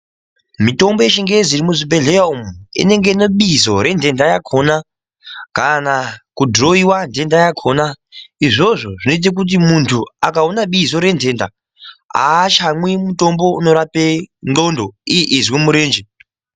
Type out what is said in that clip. Mitombo yechingezi irimuzvibhedhera inenge ine bizo rendenda yakona kana kudhirowewa ndenda yakona, izvi zvinoita kuti muntu akaona bizo rendenda aachamwi mutombo unorapa ndxondo iye eizwa murenje.